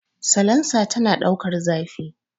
Salansa tana ɗaukan zafi